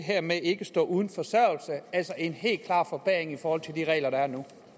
ikke står uden forsørgelse altså en helt klar forbedring i forhold til de regler der er nu